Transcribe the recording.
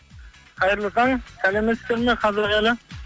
қайырлы таң сәлеметсіздер ме қазақ елі